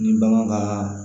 Ni bagan ka